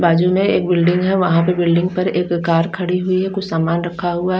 बाजू में एक बिल्डिंग है वहां पे बिल्डिंग पर एक कार खड़ी हुए है कुछ सामान रखा हुआ--